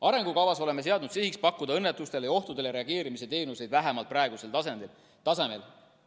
Arengukavas oleme seadnud sihiks pakkuda õnnetustele ja ohtudele reageerimise teenuseid vähemalt praegusel tasemel.